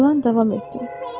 İlan davam etdi.